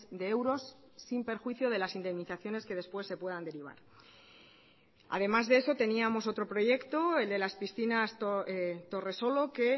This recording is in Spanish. de euros sin perjuicio de las indemnizaciones que después se puedan derivar además de eso teníamos otro proyecto el de las piscinas torresolo que